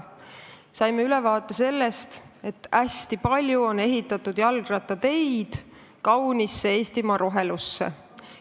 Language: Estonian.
Saime ülevaate sellest, et hästi palju jalgrattateid on ehitatud kaunisse Eestimaa rohelusse.